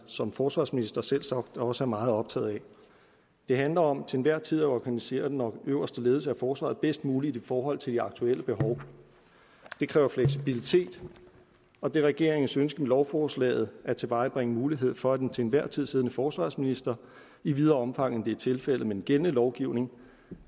som forsvarsminister selvsagt også er meget optaget af det handler om til enhver tid at organisere den øverste ledelse af forsvaret bedst muligt i forhold til de aktuelle behov det kræver fleksibilitet og det er regeringens ønske med lovforslaget at tilvejebringe mulighed for at den til enhver tid siddende forsvarsminister i videre omfang end det er tilfældet med den gældende lovgivning